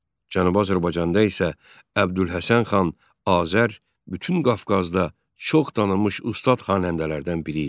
Cənubi Azərbaycanda isə Əbdülhəsən xan Azər bütün Qafqazda çox tanınmış ustad xanəndələrdən biri idi.